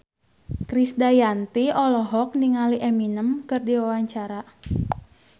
Krisdayanti olohok ningali Eminem keur diwawancara